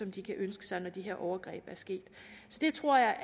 de kan ønske sig når de her overgreb er sket så det tror jeg